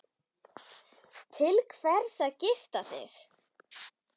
Til hvers að gifta sig?